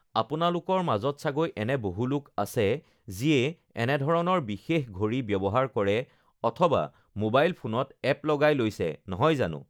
আপোনালোকৰ মাজত চাগৈ এনে বহু লোক আছে যিয়ে এনে ধৰণৰ বিশেষ ঘড়ী ব্যৱহাৰ কৰে অথবা মোবাইল ফোনত এপ্ লগাই লৈছে নহয় জানো?